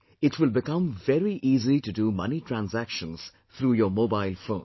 It will become very easy to do money transactions through your mobile phone